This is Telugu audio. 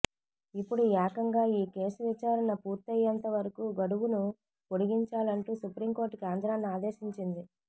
ఇప్పుడు ఏకంగా ఈ కేసు విచారణ పూర్తయ్యేంత వరకు గడువును పొడిగించాలంటూ సుప్రీంకోర్టు కేంద్రాన్ని ఆదేశించింది